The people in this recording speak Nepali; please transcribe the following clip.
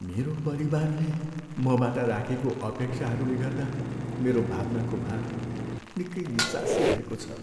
मेरो परिवारले मबाट राखेको अपेक्षाहरूले गर्दा मेरो भावनाको भार निकै निस्सासिरहेको छ।